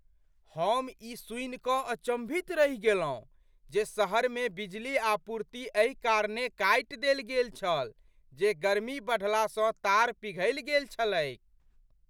हम ई सुनिकऽ अचम्भित रहि गेलहुँ जे शहरमे बिजली आपूर्ति एहि कारणेँ काटि देल गेल छल जे गर्मी बढ़लासँ तार पिघलि गेल छलैक।